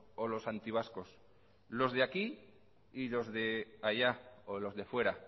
o los antivascos los de aquí y los de allá o los de fuera